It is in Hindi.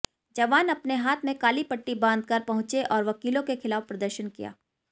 जवान अपने हाथ में काली पट्टी बांधकर पहुंचे और वकीलों के खिलाफ प्रदर्शन किया